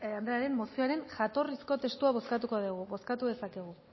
taldearen mozioaren jatorrizko testua bozkatuko dugu bozkatu dezakegu